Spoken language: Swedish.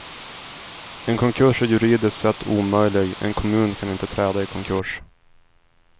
En konkurs är juridiskt sett omöjlig, en kommun kan inte träda i konkurs.